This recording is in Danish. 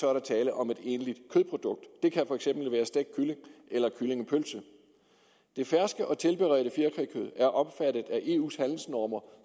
er der tale om et egentligt kødprodukt det kan for eksempel være stegt kylling eller kyllingepølse det ferske og tilberedte fjerkrækød er omfattet af eu’s handelsnormer